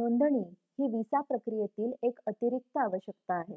नोंदणी ही विसा प्रक्रियेसाठी एक अतिरिक्त आवश्यकता आहे